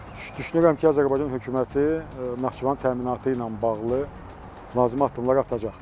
Düşünürəm ki, Azərbaycan hökuməti Naxçıvanın təminatı ilə bağlı lazım olan addımlar atacaqdır